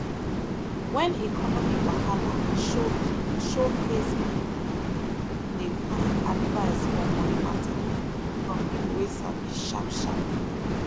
when economy wahala show show face people dey find advice for money matter from people way sabi sharp sharp